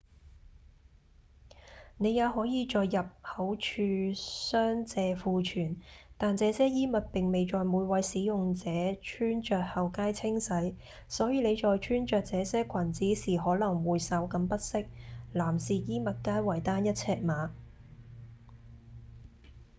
您也可以在入口處商借庫存但這些衣物並未在每位使用者穿著後皆清洗所以您在穿著這些裙子時可能會稍感不適男士衣物皆為單一尺碼！